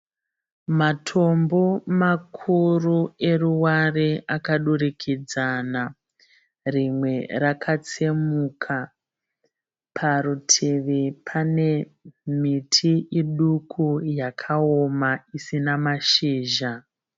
Matombo makuru eruware akadurikidzana. Rinwe rakatsemuka. Parutivi pane miti miduku yakaoma isina mashizha.